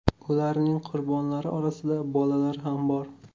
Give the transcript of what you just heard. Ularning qurbonlari orasida bolalar ham bor.